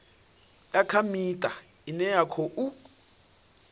kha miṱa ine ya khou